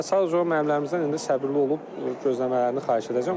Və sadəcə olaraq müəllimlərimizdən indi səbirli olub gözləmələrini xahiş edəcəm.